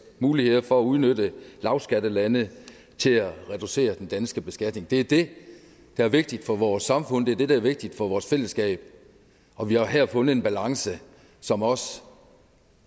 muligheder for at udnytte lavskattelande til at reducere den danske beskatning det er det der er vigtigt for vores samfund det er det der er vigtigt for vores fællesskab og vi har jo her fundet en balance som også